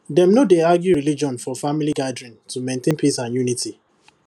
dem no dey argue religion for for family gathering to maintain peace and unity